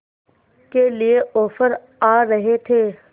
के लिए ऑफर आ रहे थे